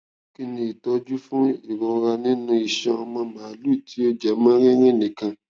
kí ni ìtọjú fún irora nínú iṣan ọmọ màlúù tí ó jẹ mọ rírìn nìkan